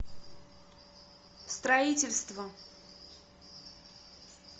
строительство